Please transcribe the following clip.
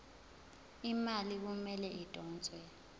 imali kumele idonswe